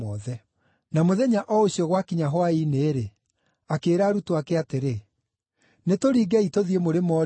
Na mũthenya o ũcio gwakinya hwaĩ-inĩ-rĩ, akĩĩra arutwo ake atĩrĩ, “Nĩtũringei tũthiĩ mũrĩmo ũũrĩa ũngĩ.”